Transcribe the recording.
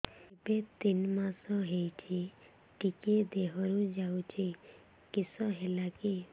ଏବେ ତିନ୍ ମାସ ହେଇଛି ଟିକିଏ ଦିହରୁ ଯାଉଛି କିଶ ହେଲାକି